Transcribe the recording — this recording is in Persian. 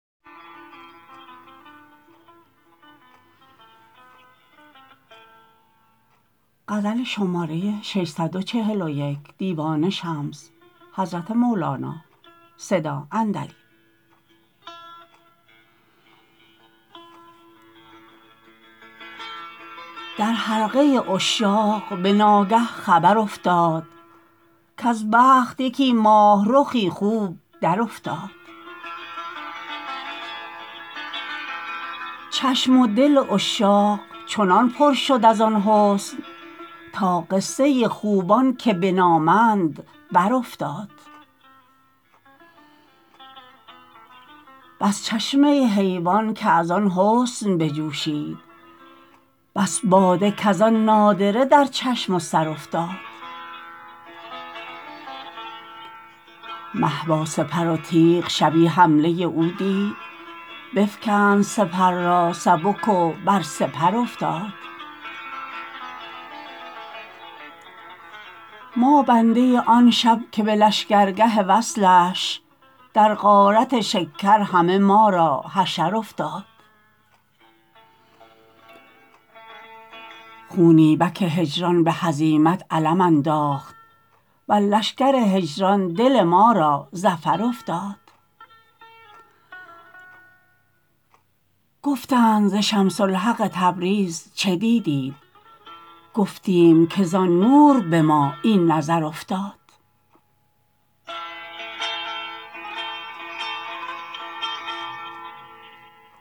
در حلقه عشاق به ناگه خبر افتاد کز بخت یکی ماه رخی خوب درافتاد چشم و دل عشاق چنان پر شد از آن حسن تا قصه خوبان که بنامند برافتاد بس چشمه حیوان که از آن حسن بجوشید بس باده کز آن نادره در چشم و سر افتاد مه با سپر و تیغ شبی حمله او دید بفکند سپر را سبک و بر سپر افتاد ما بنده آن شب که به لشکرگه وصلش در غارت شکر همه ما را حشر افتاد خونی بک هجران به هزیمت علم انداخت بر لشکر هجران دل ما را ظفر افتاد گفتند ز شمس الحق تبریز چه دیدیت گفتیم کز آن نور به ما این نظر افتاد